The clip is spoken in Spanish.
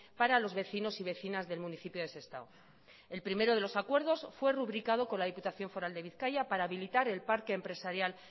para los vecinos y vecinas del municipio de sestao el primero de los acuerdos fue rubricado con la diputación foral de bizkaia para habilitar el parque empresarial